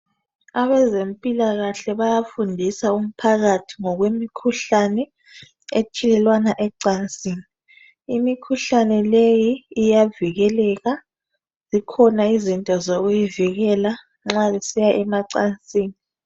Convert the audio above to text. Abezimpilakahle bayafundisa umphakathi ngokwemikhuhlane etshiyelanwa ecansini imikhuhlane leyi iyavikeleka zikhona izinto zokuyivikela nxa besiya emacansini .